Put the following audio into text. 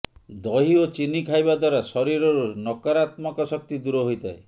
ଦହି ଓ ଚିନି ଖାଇବା ଦ୍ୱାରା ଶରୀରରୁ ନକରାତ୍ମକ ଶକ୍ତି ଦୂର ହୋଇଥାଏ